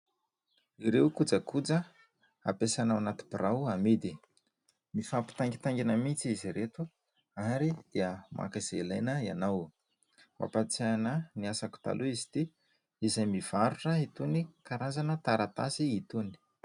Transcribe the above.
Ireo kojakoja hampiasaina ao anaty birao amidy. Mifampitaingintaingina mihintsy izy ireto ary dia maka izay ilaina ianao. Mampatsiahy ahy ny asako taloha izy ity izay mivarotra itony karazana taratasy itony.